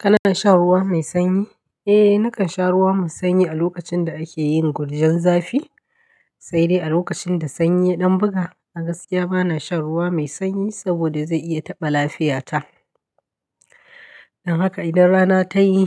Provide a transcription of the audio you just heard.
Kana shan ruwa mai sanyi? Eh, nakan sha ruwa me sanyi a lokacin da ake yin gurjen zafi. Sai dai a lokacin da sanyi ya ɗan buga, agaskiya ba na shan ruwa mai sanyi saboda zai iya taɓa lafiyata. Don haka idan rana ta yi,